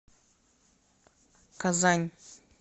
казань